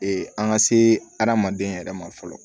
an ka se adamaden yɛrɛ ma fɔlɔ